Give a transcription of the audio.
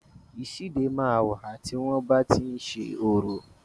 Ìsíde máa ń wà, tí wọn bá ti ń ṣe orò